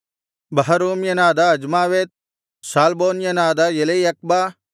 ಬಹರೂಮ್ಯನಾದ ಅಜ್ಮಾವೆತ್ ಶಾಲ್ಬೋನ್ಯನಾದ ಎಲೆಯಖ್ಬ